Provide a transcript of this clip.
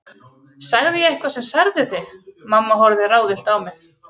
Sagði ég eitthvað sem særði þig? mamma horfði ráðvillt á mig.